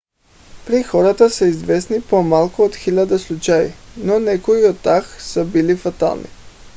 при хората са известни по-малко от хиляда случая но някои от тях са били фатални